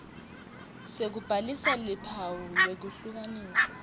sekubhalisa luphawu lwekuhlukanisa